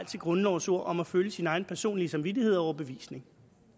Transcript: til grundlovens ord om at følge sin egen personlige samvittighed og overbevisning